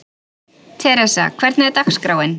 Theresa, hvernig er dagskráin?